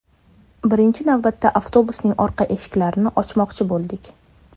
Birinchi navbatda avtobusning orqa eshiklarini ochmoqchi bo‘ldik.